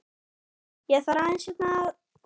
Ég þarf aðeins hérna að.